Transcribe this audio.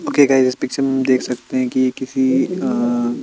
okay guys इस picture में हम देख सकते है की ये किसी अ --